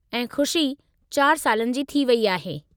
ऐं खु़शी चारि सालनि जी थी वेई आहे।